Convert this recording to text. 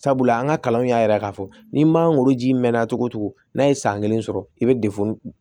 Sabula an ka kalanw y'a yira k'a fɔ ni magoro ji mɛnna cogo cogo n'a ye san kelen sɔrɔ i be